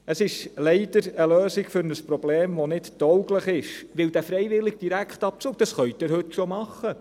Es ist leider eine Lösung für ein Problem, die nicht tauglich ist, denn den freiwilligen Direktabzug können Sie heute schon einrichten.